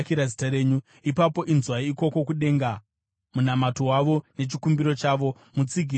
ipapo inzwai ikoko kudenga munamato wavo nechikumbiro chavo, mutsigire mhaka yavo.